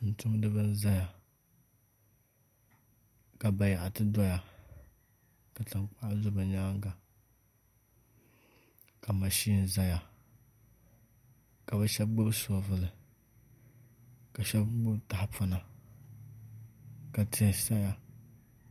Tumtumdiba n ʒɛya ka bayaɣati doya ka tankpaɣu do bi nyaanga ka mashin ʒɛya ka bi shab gbubi shoovul ka shab gbubi tahapona ka tihi saya